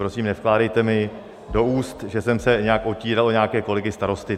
Prosím, nevkládejte mi do úst, že jsem se nějak otíral o nějaké kolegy starosty.